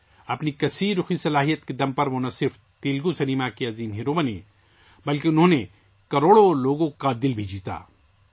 اپنی کثیر رخی شخصیت کی وجہ سے وہ نہ صرف تیلگو سنیما کے سپر اسٹار بن گئے بلکہ کروڑوں لوگوں کے دل بھی جیت لیے